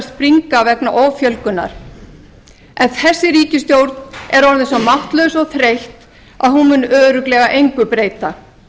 springa vegna offjölgunar en þessi ríkisstjórn er orðin svo máttlaus og þreytt að hún mun örugglega engu breyta